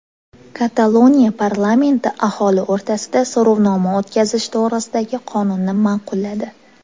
Kataloniya parlamenti aholi o‘rtasida so‘rovnoma o‘tkazish to‘g‘risidagi qonunni ma’qulladi.